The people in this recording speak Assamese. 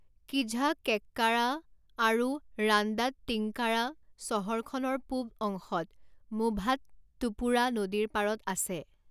কিঝাক্কেকাৰা আৰু ৰাণ্ডাট্টিংকাৰা চহৰখনৰ পূব অংশত মুভাট্টুপুড়া নদীৰ পাৰত আছে।